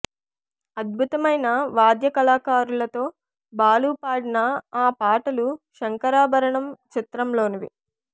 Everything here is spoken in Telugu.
అద్భుతమైన వాద్య కళకారులతో బాలు పాడిన ఆ పాటలు శంకరాభరణం చిత్రంలోనివి